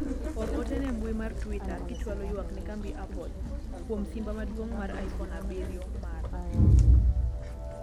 or ote ne mbui mar twita kichwalo ywak ne kambi apple kuom simba maduong' mar ifon abiriro mara